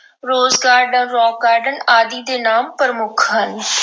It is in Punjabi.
Rose Garden, Rock Garden ਆਦਿ ਦੇ ਨਾਮ ਪ੍ਰਮੁੱਖ ਹਨ।